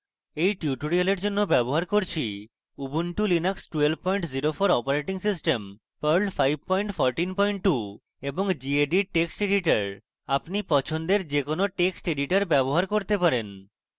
এই tutorial জন্য ব্যবহার করছি